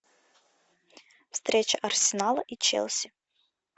встреча арсенала и челси